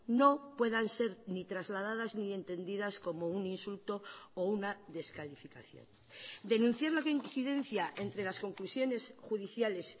no puedan ser ni trasladadas ni entendidas como un insulto o una descalificación denunciar la incidencia entre las conclusiones judiciales